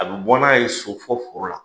A bɛ bɔ n'a ye so fɔ foro la.